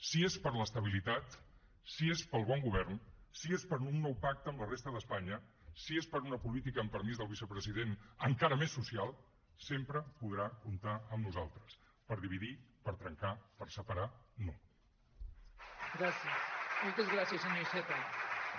si és per l’estabilitat si és pel bon govern si és per un nou pacte amb la resta d’espanya si és per una política amb permís del vicepresident encara més social sempre podrà comptar amb nosaltres per dividir per trencar per separar no